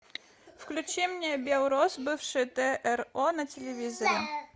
включи мне белрос бывший тро на телевизоре